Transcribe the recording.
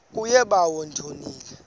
kuye bawo ndonile